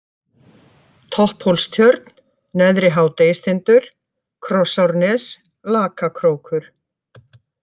Topphólstjörn, Neðri-Hádegistindur, Krossárnes, Lakakrókur